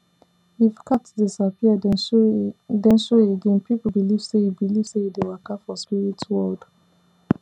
if cat disappear then show again people believe say e believe say e dey waka for spirit world